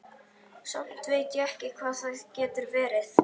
Samt veit ég ekki hvað það getur verið.